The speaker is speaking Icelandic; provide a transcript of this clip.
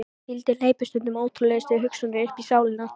Hvíldin hleypir stundum ótrúlegustu hugsunum uppí sálina.